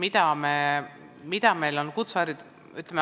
Väga oluline küsimus.